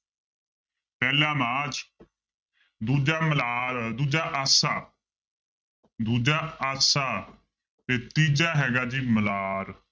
ਪਹਿਲਾ ਮਾਝ ਦੂਜਾ ਮਲਾਰ ਦੂਜਾ ਆਸਾ ਦੂਜਾ ਆਸਾ ਤੇ ਤੀਜਾ ਹੈਗਾ ਜੀ ਮਲਾਰ।